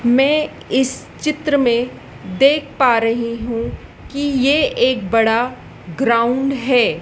मैं इस चित्र में देख पा रही हूं कि ये एक बड़ा ग्राउंड है।